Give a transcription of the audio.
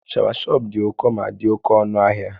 Shawashọp dị ụkọ ma dị oke ọnụ ahịa